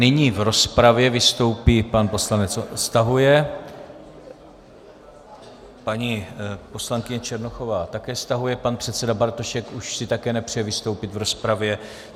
Nyní v rozpravě vystoupí... pan poslanec stahuje, paní poslankyně Černochová také stahuje, pan předseda Bartošek už si také nepřeje vystoupit v rozpravě.